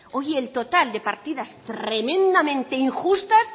oye el total de partidas tremendamente injustas